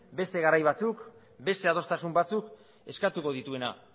beste garai batzuk beste adostasun batzuk eskatuko dituena